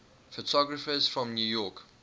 photographers from new york